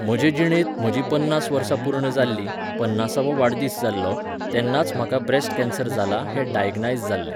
म्हजे जिणेंत, म्हजीं पन्नास वर्सां पूर्ण जाल्लीं, पन्नासावो वाडदीस जाल्लो, तेन्नाच म्हाका ब्रॅस्ट केन्सर जाला हें डायग्नायज जाल्लें